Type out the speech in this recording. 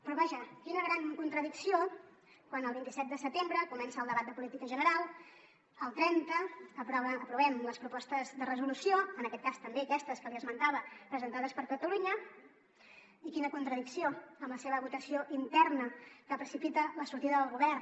però vaja quina gran contradicció quan el vint set de setembre comença el debat de política general el trenta aprovem les propostes de resolució en aquest cas també aquestes que li esmentava presentades per junts per catalunya i quina contradicció amb la seva votació interna que precipita la sortida del govern